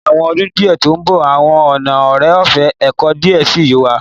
Ni awọn ọdun to nbo awọn ọna ore-ọfẹ eco diẹ sii yoo wa